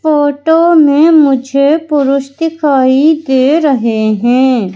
Photo में मुझे पुरुष दिखाई दे रहे हैं।